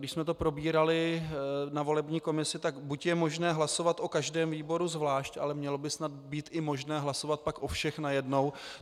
Když jsme to probírali na volební komisi, tak buď je možné hlasovat o každém výboru zvlášť, ale mělo by snad být i možné hlasovat pak o všech najednou.